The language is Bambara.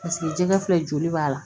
Paseke jɛgɛ filɛ joli b'a la